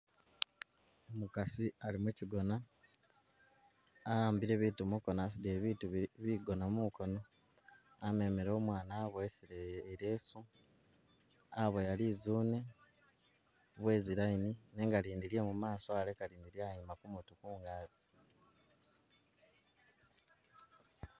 Umukasi ali mikigona ahambile biitu mukono asudile biitu bigona mukono amemele umwana abowesele ileesu aboya lizune bwezi'line nenga lindi lye mumaso aleka lyayima kumutwe kungazi.